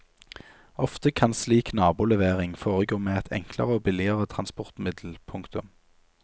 Ofte kan slik nabolevering foregå med et enklere og billigere transportmiddel. punktum